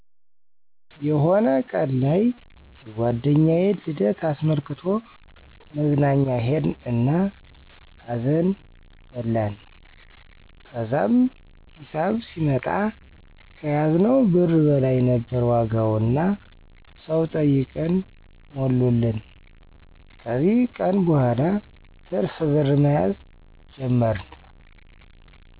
የሆነ ቀን ላይ የጓደኛዬን ልደት አስመልክቶ መዝናኛ ሄድን እና አዘን በላን። ከዛም ሂሳብ ሲመጣ ከያዝነው ብር በላይ ነበር ዋጋው እና ሰው ጠይቀን ሞሉልን። ከዚ ቀን በኋላ ትርፍ ብር መያዝ ጀመርን።